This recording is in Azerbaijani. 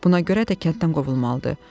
Buna görə də kənddən qovulmalıdır.